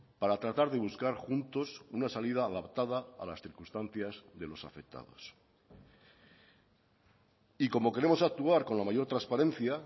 para tratar de buscar juntos una salida adaptada a las circunstancias de los afectados y como queremos actuar con la mayor transparencia